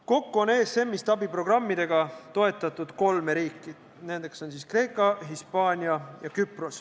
Kokku on ESM-ist abiprogrammidega toetatud kolme riiki: Kreeka, Hispaania ja Küpros.